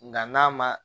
Nka n'a ma